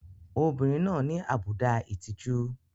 Obìnrin náà ní àbùdá ìtìjú.